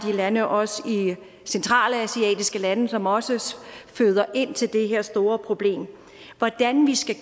lande også i centralasiatiske lande som også føder ind til det her store problem hvordan skal